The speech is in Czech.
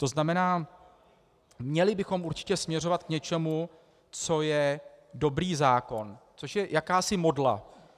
To znamená, měli bychom určitě směřovat k něčemu, co je dobrý zákon, což je jakási modla.